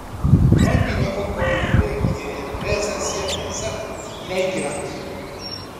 No nginya ũkorwo na bengi ĩrĩa mbeca cia biacara iraingĩra